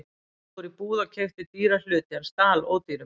Ég fór í búð og keypti dýra hluti en stal ódýrum.